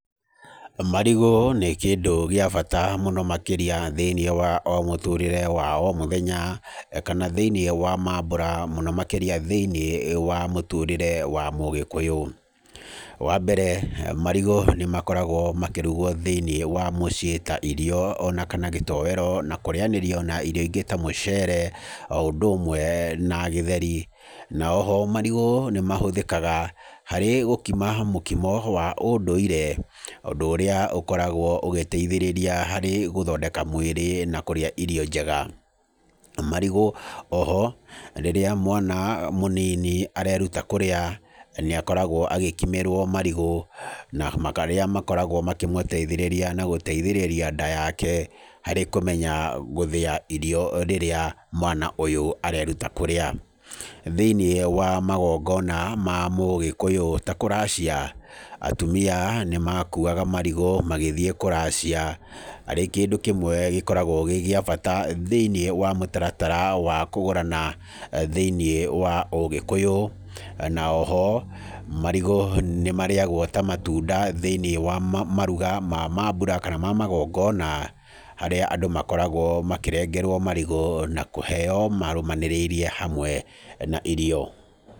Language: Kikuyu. Marigũ nĩ kĩndũ gĩa bata mũno makĩria thĩiniĩ wa o mũtũũrĩre wa o mũthenya kana thĩiniĩ wa mambũra mũno makĩria thĩiniĩ wa mũtũũrĩre wa mũgĩkũyũ. Wa mbere, marigũ nĩ makoragwo makĩrugwo thĩiniĩ wa mũciĩ ta irio kana gĩtoero na kũrĩanĩrio na irio ingĩ ta mũcere o ũndũ ũmwe na gĩtheri. Na o ho, marigũ nĩ mahũthĩkaga harĩ gũkima mũkimo wa ũndũire, ũndũ ũrĩa ũkoragwo ũgĩteithĩrĩria harĩ gũthondeka mwĩrĩ na kũrĩa irio njega. Marigũ o ho rĩrĩa mwana mũnini areruta kũrĩa, nĩ akoragwo agĩkimĩrwo marigũ, na marĩa makoragwo makĩmũteithĩrĩria na gũteithĩrĩria nda yake harĩ kũmenya gũthĩa irio rĩrĩa mwana ũyũ areruta kũrĩa. Thĩiniĩ wa magongona ma mũgĩkũyũ ta kũracia, atumia nĩ makuaga marigũ magĩthiĩ kũracia, arĩ kĩndũ kiĩmwe gĩkoragwo gĩ gĩa bata thĩiniĩ wa mũtaratara wa kũgũrana thĩiniĩ wa ũgĩkũyũ. Na o ho marigũ nĩ marĩagwo ta matunda thĩiniĩ wa maruga kana mambura ma magongona, harĩa andũ makoragwo makĩrengerwo marigũ na kũheyo marũmanĩrĩirie hamwe na irio.